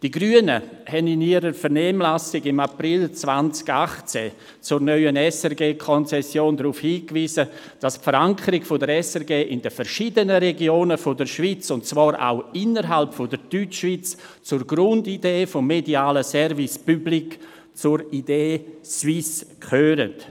Die Grünen haben im April 2018 in der Vernehmlassung zur neuen SRG-Konzession darauf hingewiesen, dass die Verankerung der SRG in den verschiedenen Regionen der Schweiz – auch innerhalb der Deutschschweiz – zur Grundidee des medialen Service Public, zur «idée suisse» gehört.